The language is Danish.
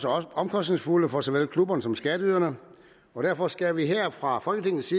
også omkostningsfulde for såvel klubberne som skatteyderne og derfor skal vi her fra folketingets